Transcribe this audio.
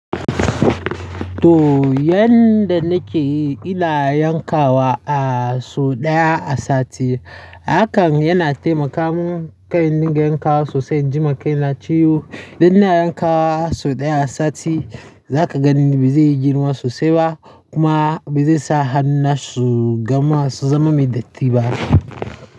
To, yanda nake yi ina yankawa a su ɗaya a sati. Hakan yana taimaka mun kai dinga yankawa sosai, jima kai na ciwo. Idan ina yankawa sau ɗaya a sati za ka gani ba zai yi girma sosai ba kuma ba zai sa hannu na su gama su zama mai datti ba.